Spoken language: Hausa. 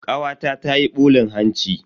Kawata tayi bulin hanci.